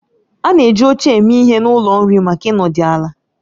A na-eji oche eme ihe n'ụlọ nri maka ịnọdụ ala